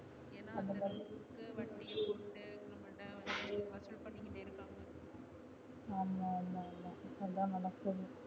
ஆமா ஆமா அதான் நடக்குது